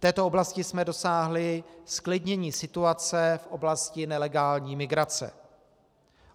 V této oblasti jsme dosáhli zklidnění situace v oblasti nelegální migrace.